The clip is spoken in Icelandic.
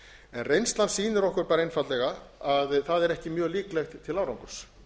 en reynslan sýnir okkur einfaldlega að það er ekki mjög líklegt til árangurs